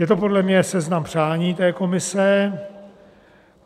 Je to podle mě seznam přání té Komise.